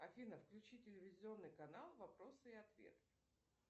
афина включи телевизионный канал вопросы и ответы